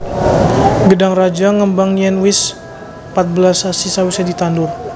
Gedhang raja ngembang yen wis patbelas sasi sawise ditandur